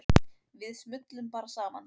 Við smullum bara saman.